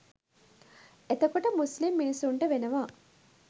එතකොට මුස්ලිම් මිනිස්සුන්ට වෙනවා